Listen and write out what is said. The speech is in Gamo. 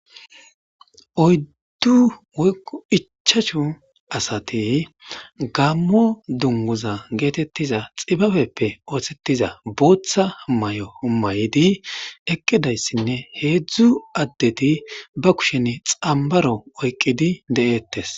Oyddu woykko ichchashu asathi gaammo dungguzzaa geetheththiza tsibabeppe ooseththida booththa mayo mayidi eqqi dayisinne heezzu addethi ba kusheni xambbaro oyqqidi de7eeththes.